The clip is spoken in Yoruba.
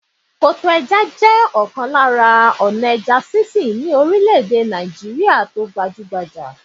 Koto ẹja jẹ́ ọ̀kan lára ọ̀nà ẹja sísìn ni orílè-èdè Nàìjíríà.